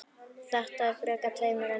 Og frekar tveimur en einum.